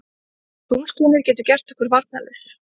Tunglskinið getur gert okkur varnarlaus.